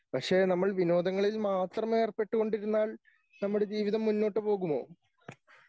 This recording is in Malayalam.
പക്ഷേ നമ്മൾ വിനോദങ്ങളിൽ മാത്രം ഏർപ്പെട്ടു കൊണ്ടിരുന്നൽ നമ്മുടെ ജീവിതം മുന്നോട്ടുപോകുമോ?